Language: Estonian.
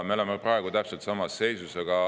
Me oleme praegu täpselt samas seisus.